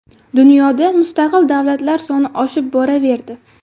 Dunyoda mustaqil davlatlar soni oshib boraverdi.